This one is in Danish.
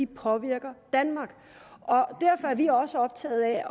påvirker danmark derfor er vi også optaget af